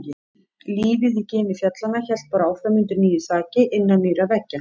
Lífið í gini fjallanna hélt bara áfram undir nýju þaki, innan nýrra veggja.